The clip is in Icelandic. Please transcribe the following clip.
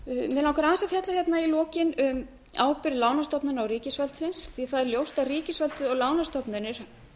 fjalla hérna í lokin um ábyrgð lánastofnana og ríkisvaldsins því að það er ljóst er að ríkisvaldið og lánastofnanir